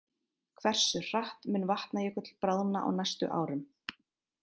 Hversu hratt mun Vatnajökull bráðna á næstu árum?